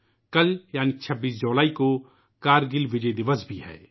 کل یعنی 26 جولائی کو '' کرگل وجے دِوس '' بھی ہے